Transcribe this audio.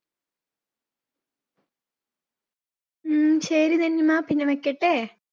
ഉം ശരി നന്നിമ്മ പിന്നെ വെക്കട്ടെ.